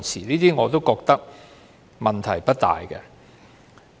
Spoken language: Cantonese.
這些條文我覺得問題也不大。